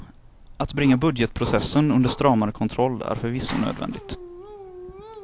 Att bringa budgetprocessen under stramare kontroll är förvisso nödvändigt.